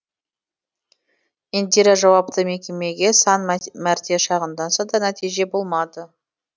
индира жауапты мекемеге сан мәрте шағымданса да нәтиже болмады